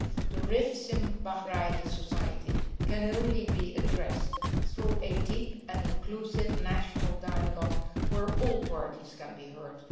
The rifts in Bahraini society can only be addressed through a deep and inclusive national dialogue where all parties can be heard.